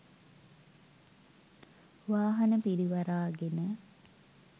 වාහන පිරිවරාගෙන.